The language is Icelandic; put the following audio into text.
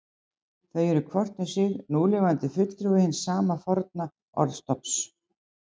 Þau eru hvort um sig núlifandi fulltrúi hins sama forna orðstofns.